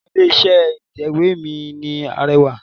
Orúkọ ilé iṣẹ́ ìtẹ̀wé mi ni Arẹwà.